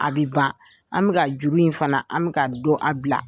A bi ban an bɛ ka juru in fana an bɛ ka dƆ a bila